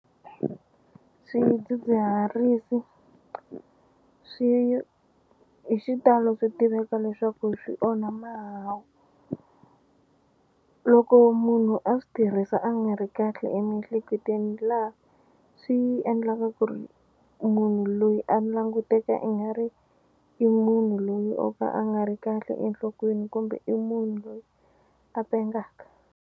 Swidzidziharisi swi hi xitalo swi tiveka leswaku swi onha mahawu loko munhu a swi tirhisa a nga ri kahle emiehleketweni laha swi endlaka ku ri munhu loyi a languteka i nga ri i munhu loyi o ka a nga ri kahle enhlokweni kumbe i munhu loyi a pengaka.